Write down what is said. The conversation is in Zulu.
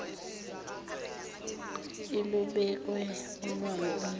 ilubeke olwayo unyawo